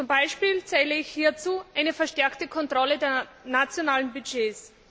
Zum Beispiel zähle ich hierzu eine verstärkte Kontrolle der nationalen Budgets.